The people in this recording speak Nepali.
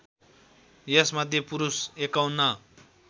यसमध्ये पुरुष ५१